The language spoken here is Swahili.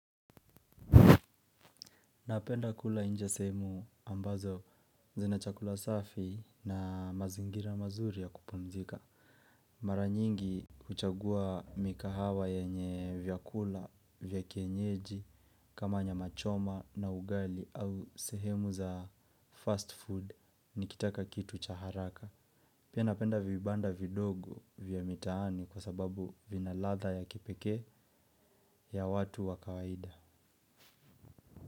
Napenda kula inje sehemu ambazo zina chakula safi na mazingira mazuri ya kupumzika. Mara nyingi huchagua migahawa yenye vyakula, vyakienyeji, kama nyama choma na ugali au sehemu za fast food nikitaka kitu chaharaka. Pia napenda vibanda vidogo vyamitaani kwa sababu vinaladha ya kipeke ya watu wakawaida.